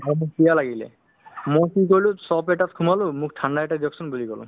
ধৰা মোৰ পিয়াহ লাগিলে ময়ো কি কৰিলো shop এটাত সোমালো মোক ঠাণ্ডা এটা দিয়ক চোন বুলি ক'লো